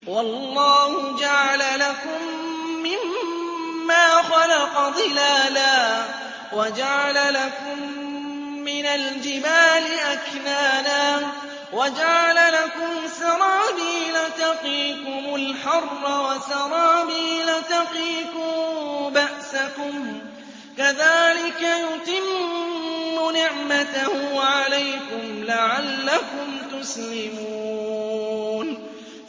وَاللَّهُ جَعَلَ لَكُم مِّمَّا خَلَقَ ظِلَالًا وَجَعَلَ لَكُم مِّنَ الْجِبَالِ أَكْنَانًا وَجَعَلَ لَكُمْ سَرَابِيلَ تَقِيكُمُ الْحَرَّ وَسَرَابِيلَ تَقِيكُم بَأْسَكُمْ ۚ كَذَٰلِكَ يُتِمُّ نِعْمَتَهُ عَلَيْكُمْ لَعَلَّكُمْ تُسْلِمُونَ